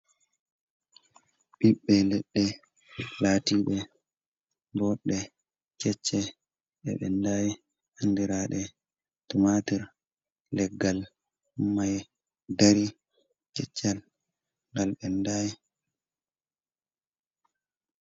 Ɓiɓɓe leɗɗee latiɓe boɗɗe kecce, nde ɓendai andiraɗe tumatur leggal mai dari keccal ngal ɓendai.